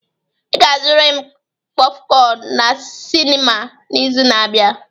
Ị ga-azụrịrị m kpofcon na sinima n'izu na-abịa!